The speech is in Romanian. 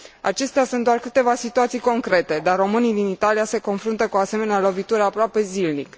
Acestea sunt doar câteva situații concrete, dar românii din Italia se confruntă cu o asemenea lovitură aproape zilnic.